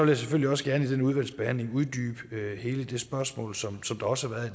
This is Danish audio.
jeg selvfølgelig også gerne i den udvalgsbehandling uddybe hele det spørgsmål som der også været